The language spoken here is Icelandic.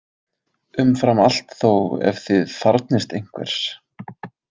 Umfram allt þó ef þið þarfnist einhvers.